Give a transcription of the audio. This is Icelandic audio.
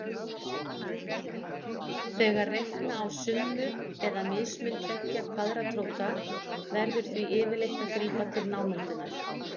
Þegar reikna á summu eða mismun tveggja kvaðratróta verður því yfirleitt að grípa til námundunar.